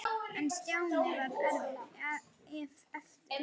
En Stjáni varð eftir.